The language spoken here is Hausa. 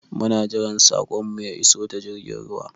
Muna jiran saƙon mu ya iso ta jirgin ruwa